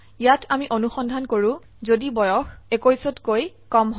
ইয়াত আমি অনুসন্ধান কৰো যদি বয়স 21 কৈ কম হয়